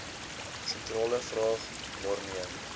sentrale vraag waarmee